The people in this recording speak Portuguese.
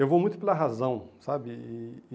Eu vou muito pela razão, sabe? E